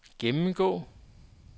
gennemgå